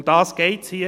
Darum geht es hier.